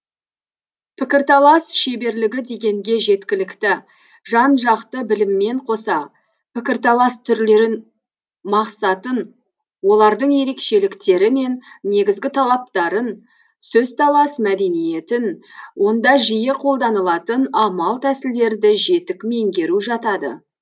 пікірталас шеберлігі дегенге жеткілікті жан жақты біліммен қоса пікірталас түрлерін мақсатын олардың ерекшеліктері мен негізгі талаптарын сөзталас мәдениетін онда жиі қолданылатын амал тәсілдерді жетік меңгеру жатады